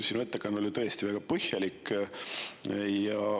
Sinu ettekanne oli tõesti väga põhjalik.